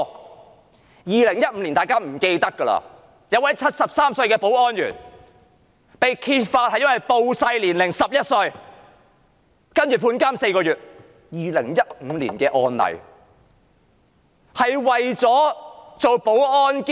在2015年，有一名73歲的保安員被揭發謊報年齡，少報了11歲，然後被判監4個月，這是2015年的案例。